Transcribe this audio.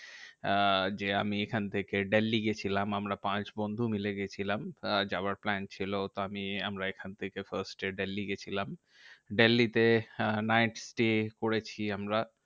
আহ যে আমি এখন থেকে দিল্লী গেছিলাম আমরা পাঁচ বন্ধু মিলে গেছিলাম। আহ যাওয়ার plan ছিল তো আমি আমরা এখন থেকে first এ দিল্লী গেছিলাম। দিল্লী তে আহ night stay করেছি আমরা।